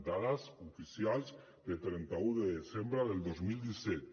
dades oficials de trenta un de desembre del dos mil disset